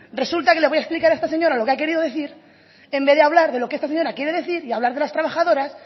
resulta que le voy a explicar a esta señora lo que ha querido decir en vez de hablar de lo que esta señora quiere decir y hablar de las trabajadoras